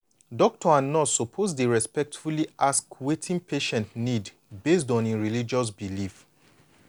doctor and nurse suppose dey respectfully ask wetin patient need based on hin religious background.